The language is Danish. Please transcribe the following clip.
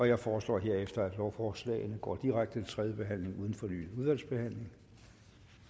jeg foreslår herefter at lovforslagene går direkte til tredje behandling uden fornyet udvalgsbehandling